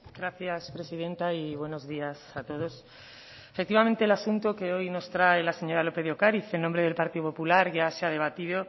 gracias presidenta y buenos días a todos efectivamente el asunto que hoy nos trae la señora lópez de ocariz en nombre del partido popular ya se ha debatido